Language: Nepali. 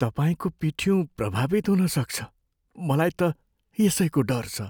तपाईँको पिठ्युँ प्रभावित हुनसक्छ। मलाई त यसैको डर छ।